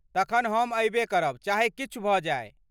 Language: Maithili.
तखन हम अयबे करब चाहे किछु भऽ जाय।